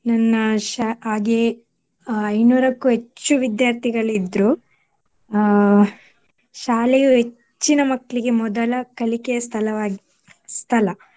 ನನ್ನ ಶ~ ಹಾಗೆ ಅಹ್ ಇನ್ನೂರಕ್ಕೂ ಹೆಚ್ಚು ವಿದ್ಯಾರ್ಥಿಗಳಿದ್ರು ಅಹ್ ಶಾಲೆಯು ಹೆಚ್ಚಿನ ಮಕ್ಳಿಗೆ ಮೊದಲ ಕಲಿಕೆಯ ಸ್ಥಳವಾಗಿ ಸ್ಥಳ.